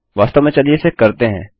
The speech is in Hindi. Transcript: वास्तव में चलिए इसे करते हैं